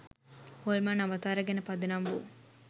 හොල්මන් අවතාර ගැන පදනම් වූ